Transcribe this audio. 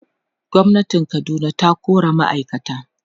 gwamnatin Kaduna ta kora ma'aikata